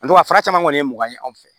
fara caman kɔni ye mɔgɔ ye anw fɛ yan